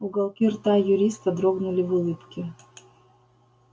уголки рта юриста дрогнули в улыбке